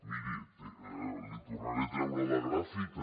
miri li tornaré a treure la gràfica